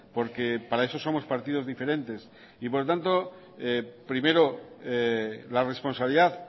porque para eso somos partidos diferentes y por lo tanto primero la responsabilidad